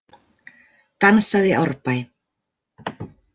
Dansað í Árbæ